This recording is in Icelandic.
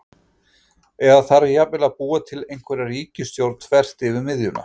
Eða þarf jafnvel að búa til einhverja ríkisstjórn þvert yfir miðjuna?